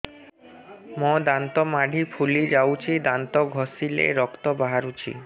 ମୋ ଦାନ୍ତ ମାଢି ଫୁଲି ଯାଉଛି ଦାନ୍ତ ଘଷିଲେ ରକ୍ତ ବାହାରୁଛି